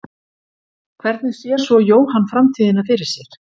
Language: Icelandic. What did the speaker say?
Hvernig sér svo Jóhann framtíðina fyrir sér?